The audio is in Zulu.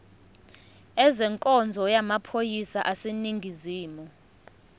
ezenkonzo yamaphoyisa aseningizimu